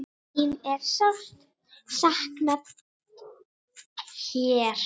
Þín er sárt saknað hér.